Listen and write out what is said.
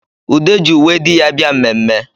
Ude ji uwe di ya bịa mmemme